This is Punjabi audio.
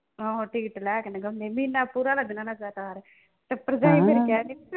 ਆਹੋ ticket ਲੈ ਕੇ ਮਹੀਨਾ ਪੂਰਾ ਲੱਗ ਜਾਣਾ